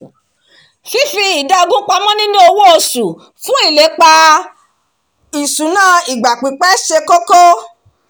fífi idà ogún pamọ́ nínú owó oṣù fún ilépa ìṣúná ìgbà-pípẹ́ ṣe kókó